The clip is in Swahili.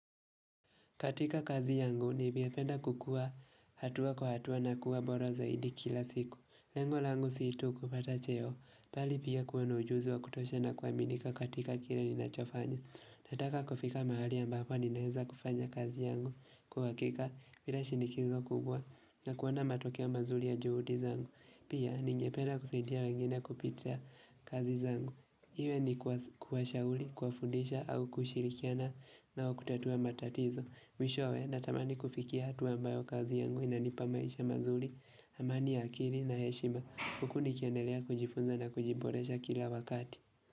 Katika kazi yangu, ningependa kukua hatua kwa hatua na kuwa bora zaidi kila siku. Lengo langu siyo tu kupata cheo. Bali pia kuwana ujuzi wa kutosha na kuaminika katika kile ninachofanya. Nataka kufika mahali ambapo ninaweza kufanya kazi yangu. Kwa uhakika, bila shinikizo kubwa, na kuona matokeo mazuri ya juhudi zangu. Pia, ningependa kusaidia wengine kupitia kazi zangu. Iwe ni kuwashauri, kuwafundisha, au kushirikiana nao kutatua matatizo. Mwishowe, ninatamani kufikia hatua ambayo kazi yangu inanipa maisha mazuri, amani ya akili na heshima, huku nikiendelea kujifunza na kujiboresha kila wakati.